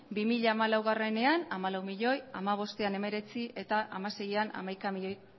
bi mila hamalauean hamalau milioi bi mila hamabostean hemeretzi eta bi mila hamaseian hamaika milioi